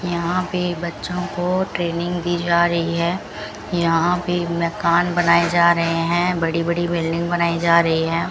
यहां पे बच्चों को ट्रेनिंग दी जा रही है यहां पे मकान बनाए जा रहे हैं बड़ी बड़ी बिल्डिंग बनाई जा रही है।